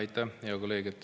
Aitäh, hea kolleeg!